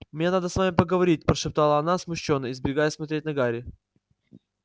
мне надо с вами поговорить прошептала она смущённо избегая смотреть на гарри